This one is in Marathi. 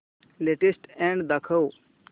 लेटेस्ट अॅड दाखव